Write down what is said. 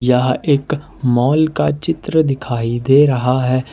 यह एक मोल का चित्र दिखाई दे रहा है।